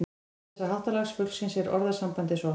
Til þessa háttalags fuglsins er orðasambandið sótt.